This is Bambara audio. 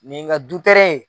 Nin ye n ka du tɛrɛn ye.